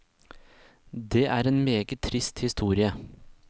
Det er en meget trist historie.